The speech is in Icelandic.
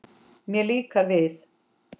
Mér líkar við